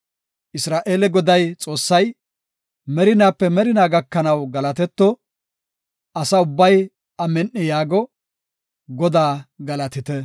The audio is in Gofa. Isra7eele Goday, Xoossay, merinaape merinaa gakanaw galatetto! Asa ubbay, “Amin7i” yaago. Godaa galatite!